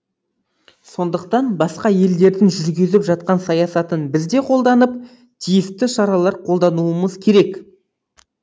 сондықтан басқа елдердің жүргізіп жатқан саясатын біз де қолданып тиісті шаралар қолдануымыз керек